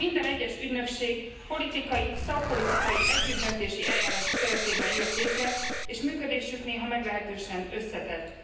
Minden egyes ügynökség politikai, szakpolitikai együttdöntési eljárás keretében jött létre, és működésük néha meglehetősen összetett.